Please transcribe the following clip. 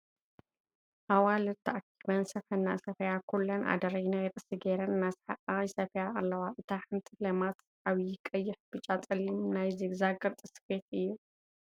ኣዋልዱ ተኪበን ስፈ እናሰፍያ ኩለን ኣደሬ ናይ ርእሲ ገይረን እናሰሓቃን ይስፍያ ኣልዋ ። እታ ሓንቲ ለማት ዓብይ ቀይሕ፣ ቢጫ፣ ፀሊምን ናይ ዚግዛግ ቅርፂ ስፊት እዩ ።